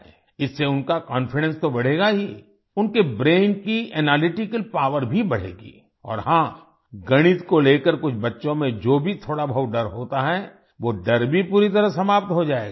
इससे उनका कॉन्फिडेंस तो बढ़ेगा ही उनके ब्रेन की एनालिटिकल पॉवर भी बढ़ेगी और हाँ गणित को लेकर कुछ बच्चों में जो भी थोड़ा बहुत डर होता है वो डर भी पूरी तरह समाप्त हो जाएगा